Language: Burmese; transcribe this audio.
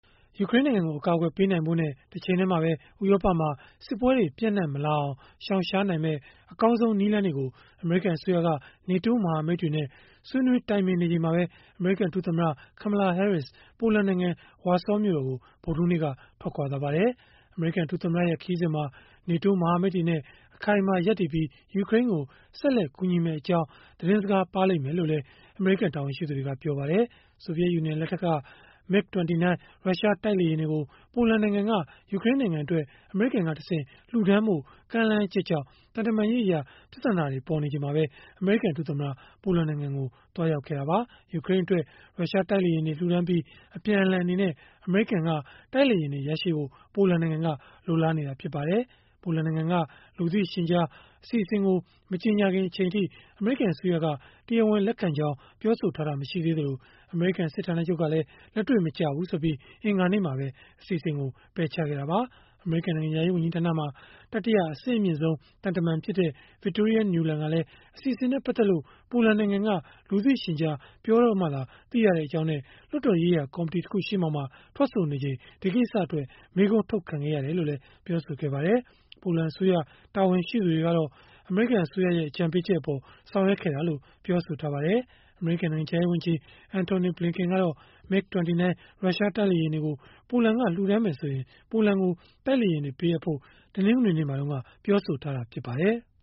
ယူကရိန်းနိုင်ငံကို အကာအကွယ်ပေးနိုင်ဖို့နဲ့ တချိန်တည်းမှာပဲ ဥရောပမှာ စစ်ပွဲတွေ ပျံ့နှံ့မလာအောင် ရှောင်ရှားနိုင်မယ့် အကောင်းဆုံး နည်းလမ်းတွေကို အမေရိကန်အစိုးရက NATO မဟာမိတ်တွေနဲ့ ဆွေးနွေးတိုင်ပင်နေချိန်မှာပဲ အမေရိကန်ဒုသမ္မတ Kamala Harris ပိုလန်နိုင်ငံ၊ ဝါဆောမြို့တော်ကို ဗုဒ္ဓဟူးနေ့က ထွက်ခွာသွားပါတယ်။ အမေရိကန် ဒုသမ္မတရဲ့ ခရီးစဉ်မှာ NATO မဟာမိတ်တွေနဲ့ အခိုင်အမာ ရပ်တည်ပြီး၊ ယူကရိန်းကို ဆက်လက် ကူညီမယ့်အကြောင်း သတင်စကားပါးလိမ့်မယ်လို့လည်း အမေရိကန် တာဝန်ရှိသူတွေက ပြောပါတယ်။ ဆိုဗီယက် ယူနီယံလက်ထက်က MiG-29 ရုရှားတိုက်လေယာဉ်တွေကို ပိုလန်နိုင်ငံက ယူကရိန်းနိုင်ငံအတွက် အမေရိကန်ကတဆင့် လှူဒါန်းဖို့ ကမ်းလှမ်းချက်ကြောင့် သံတမန်ရေး ပြဿနာတွေ ပေါ်ပေါက်နေချိန်မှာပဲ အမေရိကန် ဒုသမ္မတ ပိုလန်နိုင်ငံကို သွားရောက်ခဲ့တာပါ။ ယူကရိန်းအတွက် ရုရှားတိုက်လေယာဉ်တွေ လှူဒါန်းပြီး၊ အပြန်အလှန် အနေနဲ့ အမေရိကန်က တိုက်လေယာဉ်တွေ ရရှိဖို့ ပိုလန်နိုင်ငံက လိုလားနေတာ ဖြစ်ပါတယ်။ ပိုလန်နိုင်ငံက လူသိရှင်ကြား အစီအစဉ်ကို မကြေညာခင်အထိ အမေရိကန်အစိုးရက တရားဝင် လက်ခံကြောင်း ပြောဆိုထားတာ မရှိသေးသလို၊ အမေရိကန် စစ်ဌာနချုပ်ကလည်း လက်တွေ့မကျဘူးဆိုပြီး အင်္ဂါနေ့မှာပဲ ပယ်ချခဲ့တာပါ။ အမေရိကန် နိုင်ငံခြားရေးဝန်ကြီးဌာနမှာ တတိယ အဆင့်အမြင့်ဆုံး သံတမန်ဖြစ်တဲ့ Victoria Nuland ကလည်း အစီအစဉ်နဲ့ ပတ်သက်လို့ ပိုလန်နိုင်ငံက လူသိရှင်ကြား ပြောတော့မှသာ သိရကြောင်းနဲ့ လွှတ်တော်ရေးရာ ကော်မတီတခုရှေ့မှောက်မှာ ထွက်ဆိုနေချိန် ဒီကိစ္စအတွက် မေးခွန်းထုတ်ခံခဲ့ရတယ်လို့လည်း ပြောပါတယ်။ ပိုလန်အစိုးရ တာဝန်ရှိသူတွေကတော့ အမေရိကန်အစိုးရရဲ့ အကြံပေးချက်အပေါ် ဆောင်ရွက်ခဲ့တာလို့ ပြောဆိုထားပါတယ်။ အမေရိကန် နိုင်ငံခြားရေးဝန်ကြီး Antony Blinken ကတော့ MiG-29 ရုရှားတိုက်လေယာဉ်တွေကို ပိုလန်က လှူဒါန်းမယ်ဆိုရင် ပိုလန်ကို တိုက်လေယာဉ်တွေ ပေးအပ်ဖို့ စဉ်းစားမယ့်အကြောင်း တနင်္ဂနွေနေ့က ပြောဆိုထားတာ ဖြစ်ပါတယ်။